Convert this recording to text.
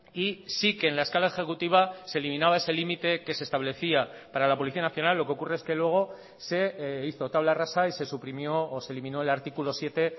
y sí que en la escala ejecutiva se eliminaba ese límite que se establecía para la policía nacional lo que ocurre es que luego se hizo tabla rasa y se suprimió o se eliminó el artículo siete